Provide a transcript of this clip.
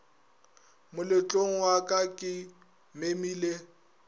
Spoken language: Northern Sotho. moletlong wa ka ke memile